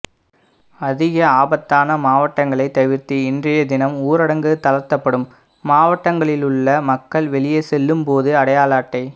அதிக ஆபத்தான மாவட்டங்களை தவிர்த்து இன்றைய தினம் ஊரடங்கு தளர்த்தப்படும் மாவட்டங்களிலுள்ள மக்கள் வெளியே செல்லும் போது அடையாள அட்டை